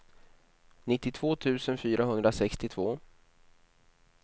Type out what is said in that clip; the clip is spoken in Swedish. nittiotvå tusen fyrahundrasextiotvå